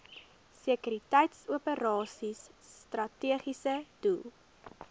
sekuriteitsoperasies strategiese doel